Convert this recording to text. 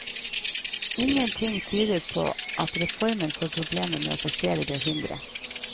Ingenting tyder på at reformen får problemer med å passere det hinderet.